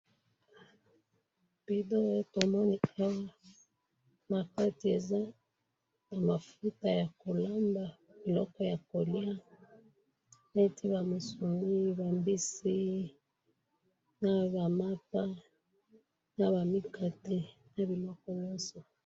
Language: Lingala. Bidon ya mafuta yako lambela.